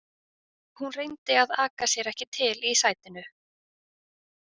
Hún reyndi að aka sér ekki til í sætinu.